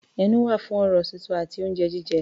Ẹnu wà fún ọ̀rọ̀ sísọ àti oúnjẹ jíjẹ.